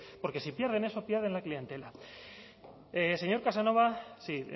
porque si pierden eso pierden la clientela señor casanova sí